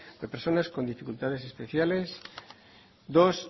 de personas con dificultades especiales dos